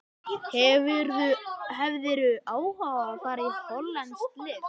Hefðirðu áhuga á að fara í hollenskt lið?